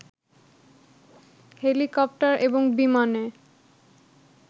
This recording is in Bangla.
হেলিকপ্টার এবং বিমানে